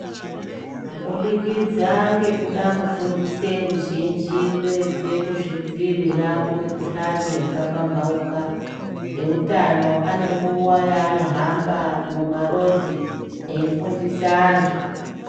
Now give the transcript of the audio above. Kubudikidza ngekuda kufundise ruzhinji kuedze kuzvidziirira kumikuhlani yakapambauka, eutano ane nguwa yaanohamba mumarodhi eyifundisa antu.